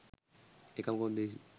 එකම කොන්දේසිය